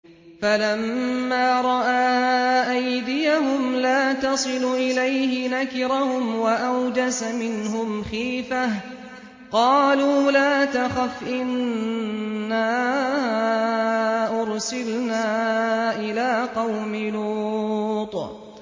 فَلَمَّا رَأَىٰ أَيْدِيَهُمْ لَا تَصِلُ إِلَيْهِ نَكِرَهُمْ وَأَوْجَسَ مِنْهُمْ خِيفَةً ۚ قَالُوا لَا تَخَفْ إِنَّا أُرْسِلْنَا إِلَىٰ قَوْمِ لُوطٍ